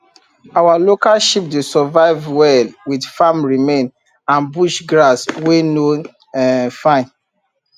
our local sheep dey survive well with farm remain and bush grass wey no um fine